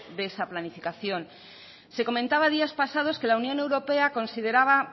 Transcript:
de esa planificación se comentaba días pasados que la unión europea consideraba